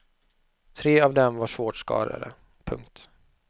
Tre av dem var svårt skadade. punkt